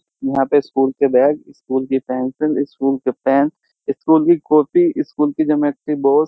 यहाँ पे स्कूल के बैग स्कूल की पेंसिल स्कूल के पेन स्कूल की कॉपी स्कूल की ज्योमेट्री बॉक्स --